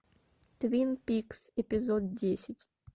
твин пикс эпизод десять